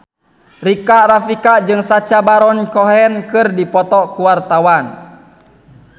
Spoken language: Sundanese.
Rika Rafika jeung Sacha Baron Cohen keur dipoto ku wartawan